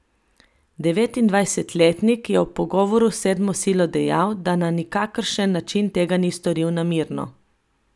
Devetindvajsetletnik je ob pogovoru s sedmo silo dejal, da na nikakršen način tega ni storil namerno.